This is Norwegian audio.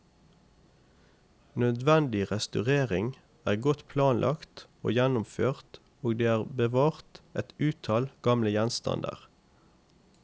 Nødvendig restaurering er godt planlagt og gjennomført og det er bevart et uttall gamle gjenstander.